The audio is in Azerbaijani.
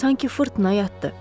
Sanki fırtına yatdı.